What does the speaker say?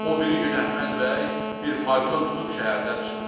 O biri gün Əhməd bəy bir fayton tutub şəhərdən çıxır.